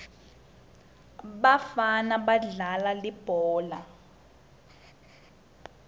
bafana badlala libhola